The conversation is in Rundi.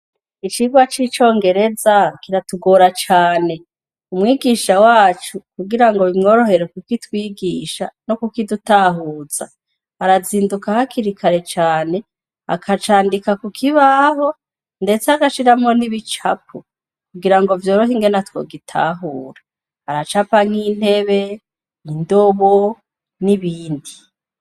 Icigwa c'icongereza ,kiratugora cane. Umwigisha wacu kugirango bimworohere kukitwigisha no kukidutahuza arazinduka hakiri kare cane, akacandika kukibaho, ndetse agashiramwo nibicapo, kugirango vyorohe ingene twogitahura. Aracapa nk'intebe, indobo n'ibindi.